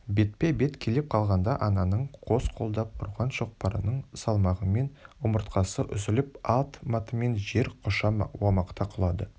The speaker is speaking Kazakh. бетпе-бет келіп қалғанда ананың қос қолдап ұрған шоқпарының салмағымен омыртқасы үзіліп ат-матымен жер құша омақата құлады